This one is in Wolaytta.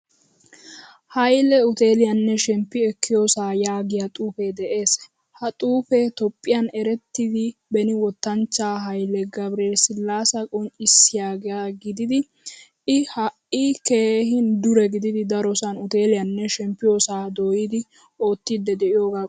Haile uteliyanne shemppi ekkiyosa yaagiyaa xuufe de'ees. Ha xuufe toophphiyaan erettida beni wottanchcha haile g/silasa qonccisiyage gididi I hai keehin dure gididi darosan uteliyaanne shemppiyosa doyidi oottidi deiyoga qonccises.